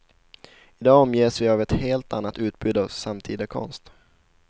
I dag omges vi av ett helt annat utbud av samtida konst.